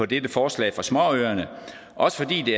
dette forslag fra småøerne også fordi det